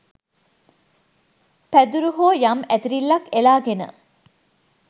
පැදුරු හෝ යම් ඇතිරිල්ලක් එලාගෙන